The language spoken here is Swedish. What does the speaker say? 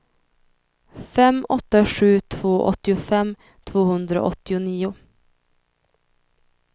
fem åtta sju två åttiofem tvåhundraåttionio